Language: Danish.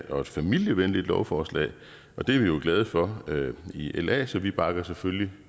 og familievenligt lovforslag og det er vi jo glade for i la så vi bakker selvfølgelig